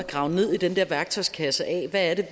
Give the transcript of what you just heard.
grave ned i den værktøjskasse af hvad det